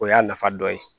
O y'a nafa dɔ ye